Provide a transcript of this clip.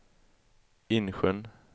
Insjön